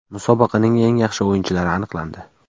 Musobaqaning eng yaxshi o‘yinchilari aniqlandi.